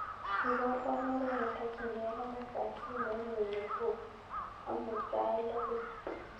Iborwon oret netokyingei komastab simoit nyuun nekobo amuut sait loo beet